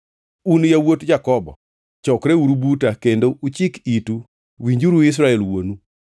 “Un yawuot Jakobo chokreuru buta kendo uchik itu; winjuru Israel wuonu.